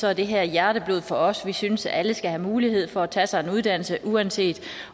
er det her hjerteblod for os vi synes at alle skal have mulighed for at tage sig en uddannelse uanset